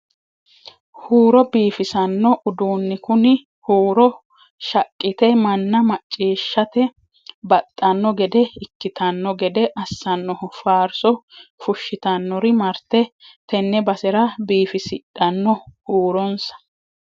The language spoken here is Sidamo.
Huuro biifissano uduuni kuni huuro shaqqite manna macciishshate baxano gede ikkittano gede assanoho faarso fushittanori marte tene basera biifisidhano huuronsa.